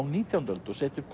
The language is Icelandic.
nítjándu öld og setja upp